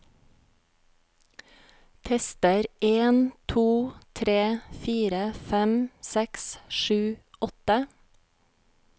Tester en to tre fire fem seks sju åtte